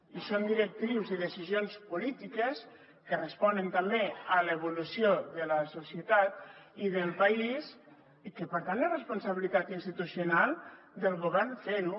i són directrius i decisions polítiques que responen també a l’evolució de la societat i del país i que per tant és responsabilitat institucional del govern fer ho